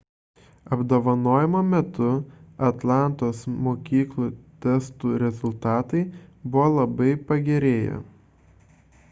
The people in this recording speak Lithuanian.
apdovanojimo metu atlantos mokyklų testų rezultatai buvo labai pagerėję